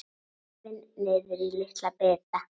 Rifin niður í litla bita.